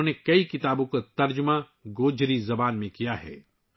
انہوں نے کئی کتابوں کا گوجری زبان میں ترجمہ کیا ہے